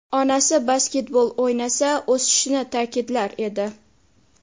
Onasi basketbol o‘ynasa o‘sishini ta’kidlar edi.